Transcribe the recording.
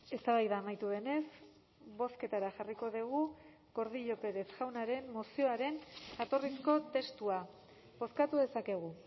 eztabaida amaitu denez bozketara jarriko dugu gordillo pérez jaunaren mozioaren jatorrizko testua bozkatu dezakegu